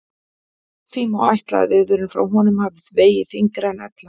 Því má ætla að viðvörun frá honum hafi vegið þyngra en ella.